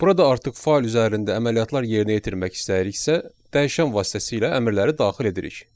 Burada artıq fayl üzərində əməliyyatlar yerinə yetirmək istəyiriksə, dəyişən vasitəsilə əmrləri daxil edirik.